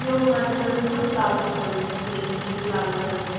ਹੁਣ ਅੱਜ ਕੱਲ ਨਾ ਪਲਾਜੋ ਚੱਲ ਦੇ ਆ ਖੁੱਲੇ ਖੁੱਲੇ ਪਲਾਜੋ ਚੱਲਦੇ ਆ